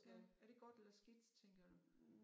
Ja er det godt eller skidt tænker du?